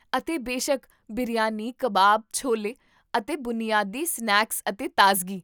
ਅਤੇ ਬੇਸ਼ੱਕ, ਬਿਰਯਾਨੀ, ਕਬਾਬ, ਛੋਲੇ, ਅਤੇ ਬੁਨਿਆਦੀ ਸਨੈਕਸ ਅਤੇ ਤਾਜ਼ਗੀ